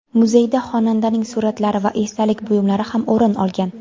Muzeydan xonandaning suratlari va esdalik buyumlari ham o‘rin olgan.